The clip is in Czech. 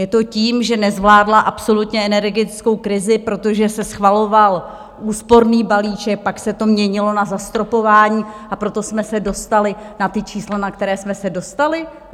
Je to tím, že nezvládla absolutně energetickou krizi, protože se schvaloval úsporný balíček, pak se to měnilo na zastropování, a proto jsme se dostali na ta čísla, na která jsme se dostali.